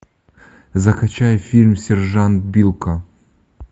закачай фильм сержант билко